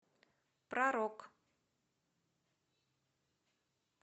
про рок